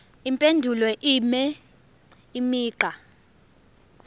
impendulo ibe imigqa